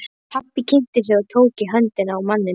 Pabbi kynnti sig og tók í höndina á manninum.